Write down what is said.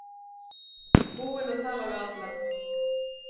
Búin að tala við alla.